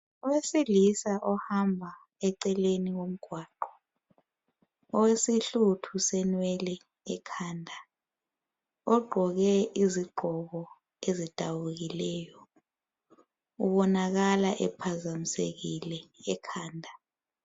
owesilisa ohamba eceleni komgwaqo ulesihluthu senwele ekhanda ogqoke izigqoko ezidabukileyo ubonakale ephazamisekile ekhanda